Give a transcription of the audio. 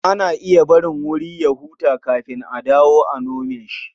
Ana iya barin wuri ya huta kafin a dawo a nome shi.